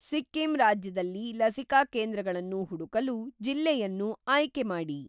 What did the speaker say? ಸಿಕ್ಕಿಂ ರಾಜ್ಯದಲ್ಲಿ ಲಸಿಕಾ ಕೇಂದ್ರಗಳನ್ನು ಹುಡುಕಲು ಜಿಲ್ಲೆಯನ್ನು ಆಯ್ಕೆ ಮಾಡಿ.